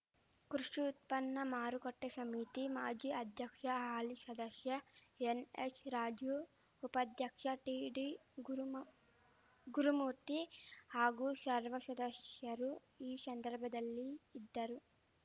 ಕೃಷಿ ಉತ್ಪನ್ನ ಮಾರುಕಟ್ಟೆಶಮಿತಿ ಮಾಜಿ ಅಧ್ಯಕ್ಷ ಹಾಲಿ ಷದಶ್ಯ ಎನ್‌ಎಸ್‌ರಾಜು ಉಪಾಧ್ಯಕ್ಷ ಟಿಡಿಗುರುಮ ಗುರುಮೂರ್ತಿ ಹಾಗೂ ಶರ್ವ ಶದಶ್ಯರು ಈ ಶಂದರ್ಭದಲ್ಲಿ ಇದ್ದರು